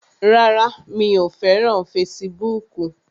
Rárá, mi ò fẹ́ràn fesibúùkù